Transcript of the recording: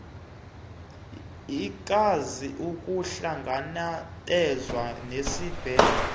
ikwazi ukuhlangabezana nesibheno